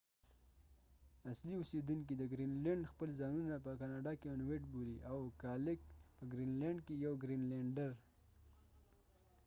اصلی اوسیدونکې د ګرین لینډ خپل ځانونه په کاناډا کې انويټinuit بولی ، او کالالیک kalaaliq جمع یې کالالیټkalaalit یو ګرینلیډر ، په ګرین لینډ کې